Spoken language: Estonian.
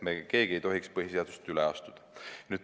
Me keegi ei tohiks põhiseadusest üle astuda.